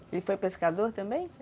Ele foi pescador também?